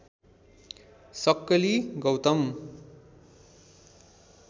सक्कली गौतम